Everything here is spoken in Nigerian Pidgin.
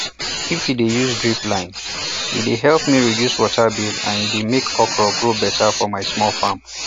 if u de use drip line e de help me reduce water bill and e dey make okra grow better for my small farm